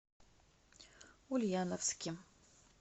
ульяновске